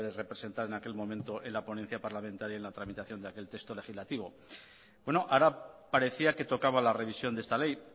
representar en aquel momento la ponencia parlamentaria en la tramitación de aquel texto legislativo bueno ahora parecía que tocaba la revisión de esta ley